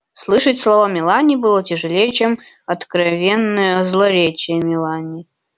слышать слова мелани было тяжелей чем откровенное злоречие мелани